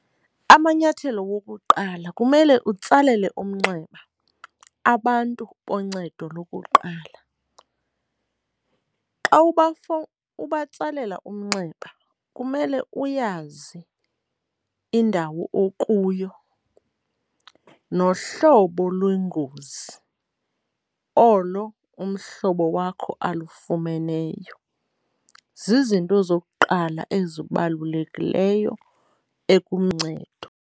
Amanyathelo wokuqala, kumele utsalele umnxeba abantu boncedo lokuqala. Xa ubatsalela umnxeba kumele uyazi indawo okuyo nohlobo lwengozi olo umhlobo wakho alufumeneyo. Zizinto zokuqala ezibalulekileyo .